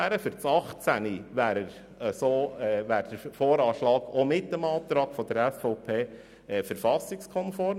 Für das Jahr 2018 wäre der Voranschlag auch mit dem Antrag der SVP verfassungskonform.